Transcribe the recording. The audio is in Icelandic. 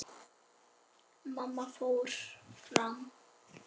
Mamma fór fram.